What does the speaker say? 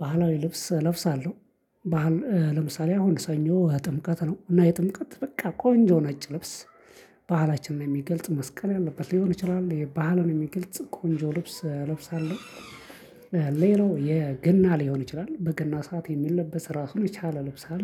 ባህላዊ ልብስ እለብሳለሁ ባህል ለምሳሌ አሁን ስኞ ጥምቀት ነው እና የጥምቀት በቃ ቆንጆ ነጭ ልብስ ባህላችን የሚገልጽ መስቀል ያለበት ሊሆን ይችላል ባህልን የሚገልጽ ቆንጆ ልብስ እለብሳለሁ። ሌላው የገና ሊሆን ይችላል በገና ሰዓት የሚለበስ ራሱን የቻለ ልብስ አለ